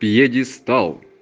пьедестал